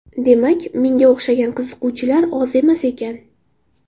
Demak, menga o‘xshagan qiziquvchilar oz emas ekan.